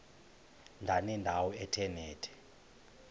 ndanendawo ethe nethe